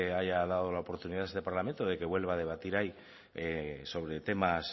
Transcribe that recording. haya dado la oportunidad a este parlamento de que vuelva a debatir ahí sobre temas